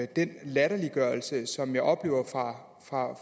den latterliggørelse som jeg oplever fra